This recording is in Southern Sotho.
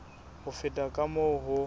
ho feta ka moo ho